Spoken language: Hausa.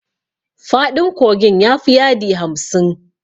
Faɗin kogin ya fi yadi hamsin.